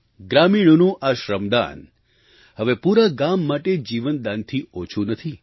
ગ્રામીણોનું આ શ્રમદાન હવે પૂરા ગામ માટે જીવનદાનથી ઓછું નથી